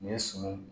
Nin ye suman